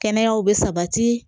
Kɛnɛyaw bɛ sabati